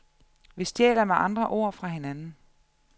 Vi stjæler med andre ord fra hinanden.